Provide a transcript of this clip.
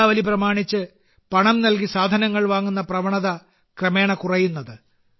ദീപാവലി പ്രമാണിച്ച് പണം നൽകി സാധനങ്ങൾ വാങ്ങുന്ന പ്രവണത ക്രമേണ കുറയുന്നത്